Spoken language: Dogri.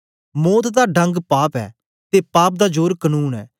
मौत दा डंग पाप ऐ ते पाप दा जोर कनून ऐ